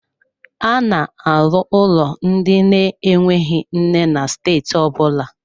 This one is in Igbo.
A na-arụ ụlọ ndị na-enweghị nne na steeti ọ bụla.